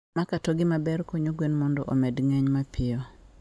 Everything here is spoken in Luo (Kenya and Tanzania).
Makatogi maber konyo gwen mondo omed ng'eny mapiyo.